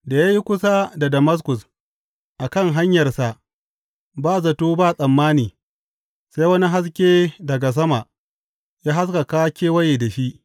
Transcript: Da ya yi kusa da Damaskus a kan hanyarsa, ba zato ba tsammani sai wani haske daga sama ya haskaka kewaye da shi.